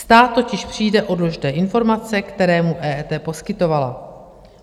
Stát totiž přijde o důležité informace, které mu EET poskytovala.